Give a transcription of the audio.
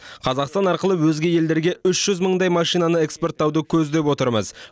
қазақстан арқылы өзге елдерге үш жүз мыңдай машинаны экспорттауды көздеп отырмыз